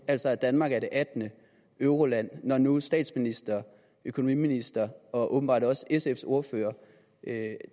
altså at danmark er det attende euroland når nu statsministeren økonomiministeren og åbenbart også sfs ordfører